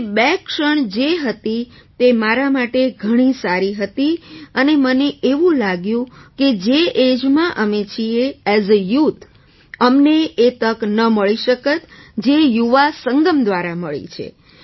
તે બે ક્ષણ જે હતી તે મારા માટે ઘણી સારી હતી અને મને એવું લાગ્યું કે જે ઍજમાં અમે છીએ ઍઝ અ યૂથ અમને એ તક ન મળી શકત જે યુવા સંગમ દ્વારા મળી છે